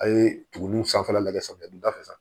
A' ye tugunninw sanfɛla lajɛ samiya donda fɛ